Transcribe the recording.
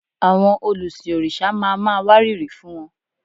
Àwọn olùsìn òrìṣà ma máa wárìrì fún wọn